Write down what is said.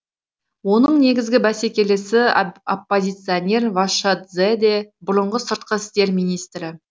оның негізгі бәсекелесі оппозиционер вашадзе де бұрынғы сыртқы істер министрі